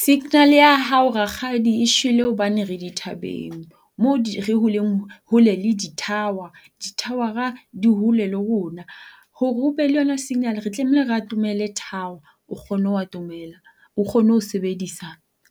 Signal ya hao rakgadi e shwele hobane re dithabeng moo leng hole le di-tower. Di-tower-ra di hole le rona. Hore o be le yona signal re tlameile re atomele tower o kgone ho atomela o kgone ho sebedisa